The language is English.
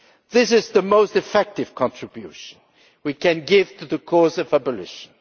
This is the most effective contribution we can give to the cause of abolition.